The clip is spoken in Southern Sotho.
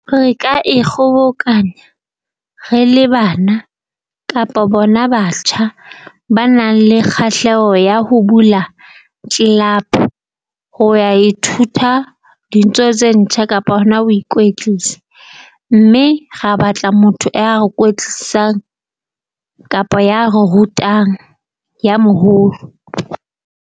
Re ka e kgobokanya re le bana kapa bona batjha ba nang le kgahleho ya ho bula . Ho ya ithuta dintho tse ntjha kapo hona ho ikwetlisa, mme ra batla motho ya re kwetlisang kapa ya re rutang ya moholo.